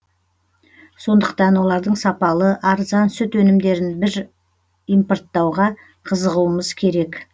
сондықтан олардың сапалы арзан сүт өнімдерін импорттауға қызығуымыз керек